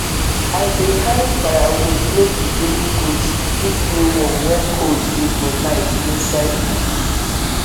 i bin carry firewoods make the baby goats fit dey warm when cold dey for night inside bush